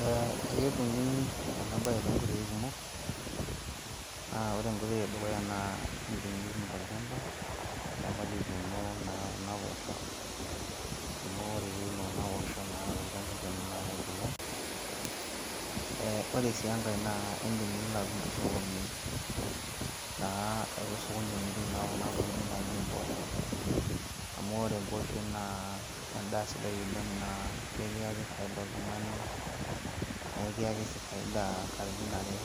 Ee eketumi ena bae toonkoitoi kumok, aa ore enkoitoi edukuya naa, indim nitum tol'chamba, tol'chamba lituuno kuna poosho amu ore piiun naa kuna posho tol'chamba lino naa kebulu. Ee ore sii enkae naa indim nilo atum tosokoni naa ele sokoni omiri kuna tokitin naa naaji imboosho, amu ore embooshoi naa endaa sidai oleng' naa kikiyaki faida oltungani, naa ekiyaki sii faida katitin are,